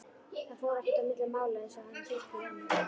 Það fór ekkert á milli mála einsog hann hrukkaði ennið.